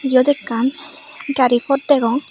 iyot ekkan gari pot degong.